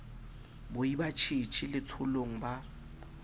boi ba tjhetjhe letsholong ba